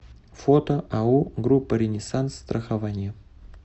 фото ао группа ренессанс страхование